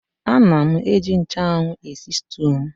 Ana m eji nchụ́anwu esi sịtịụ m